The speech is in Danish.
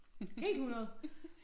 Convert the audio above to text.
Helt 100